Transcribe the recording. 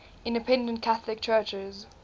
independent catholic churches